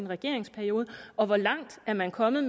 regeringsperiode og hvor langt er man kommet